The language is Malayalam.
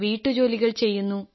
വീട്ടുജോലികൾ ചെയ്യുന്നു